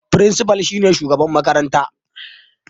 Firinsifa shine shugaban makaranta